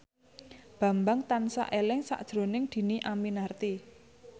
Bambang tansah eling sakjroning Dhini Aminarti